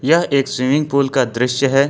यह एक swimming pool का दृश्य है।